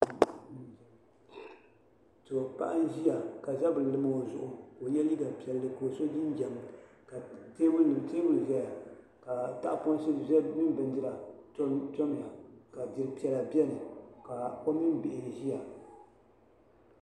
Paɣa n ʒia ka zabri lim o zuɣu ka o ye liiga piɛli ka o so jinjiɛm ka teebuli ʒeya ka tahaponsi mini bindira tam tam ya ka diri piɛla biɛni ka o mini bihi ʒia.